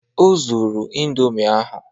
O zuru indomi ahụ